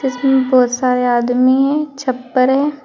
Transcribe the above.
बहुत सारे आदमी हैं छप्पर है।